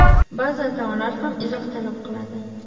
Ba’zi atamalar ham izoh talab qiladi.